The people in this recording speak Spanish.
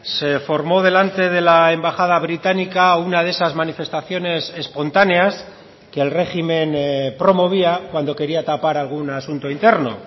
se formó delante de la embajada británica una de esas manifestaciones espontáneas que el régimen promovía cuando quería tapar algún asunto interno